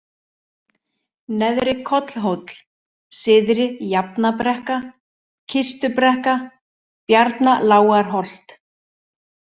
Neðri-Kollhóll, Syðri-Jafnabrekka, Kistubrekka, Bjarnalágarholt